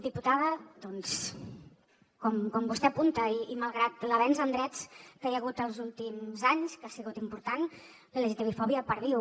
diputada doncs com vostè apunta i malgrat l’avenç en drets que hi ha hagut els últims anys que han sigut importants la lgtbi fòbia perviu